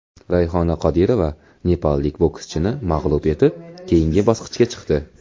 Rayhona Qodirova nepallik bokschini mag‘lub etib, keyingi bosqichga chiqdi.